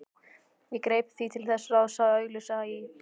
Ég greip því til þess ráðs að auglýsa í